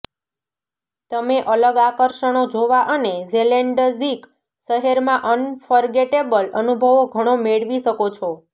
તમે અલગ આકર્ષણો જોવા અને જેલેન્ડઝીક શહેરમાં અનફર્ગેટેબલ અનુભવો ઘણો મેળવી શકો છો